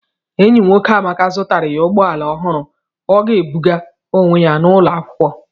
Enyi nwoke Amaka zụtara ya ụgbọ ala ọhụrụ ọ ga-ebuga onwe ya n'ụlọ akwụkwọ.